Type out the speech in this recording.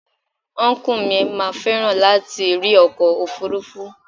Ọnkú mi máa fẹ́ràn láti rí ọkọ̀ òfuurufú.